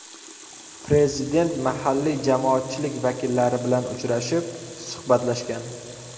Prezident mahalliy jamoatchilik vakillari bilan uchrashib, suhbatlashgan .